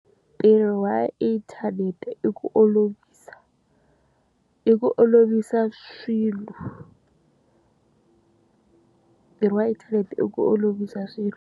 Ntirho wa inthanete i ku olovisa, i ku olovisa swilo. Ntirho wa inthanete i ku olovisa swilo.